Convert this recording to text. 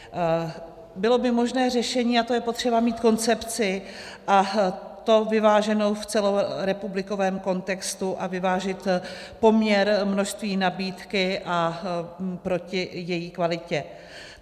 Bylo by možné řešení, a to je potřeba mít koncepci, a to vyváženou v celorepublikovém kontextu a vyvážit poměr množství nabídky a proti její kvalitě.